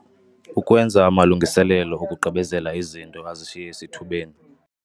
Ukwenza amalungiselelo okugqibezela izinto azishiye esithubeni.